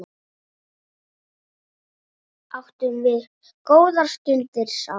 Áttum við góðar stundir saman.